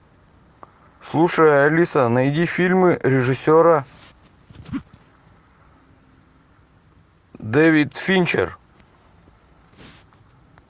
слушай алиса найди фильмы режиссера дэвид финчер